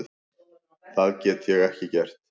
Það get ég ekki gert.